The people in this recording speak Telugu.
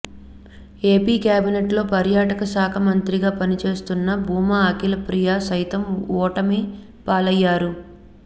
ఏపీ కేబినెట్ లో పర్యాటక శాఖ మంత్రిగా పనిచేస్తున్న భూమా అఖిలప్రియ సైతం ఓటమి పాలయ్యారు